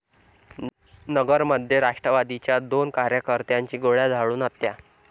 नगरमध्ये राष्ट्रवादीच्या दोन कार्यकर्त्यांची गोळ्या झाडून हत्या